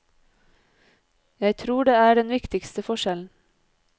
Jeg tror det er den viktigste forskjellen.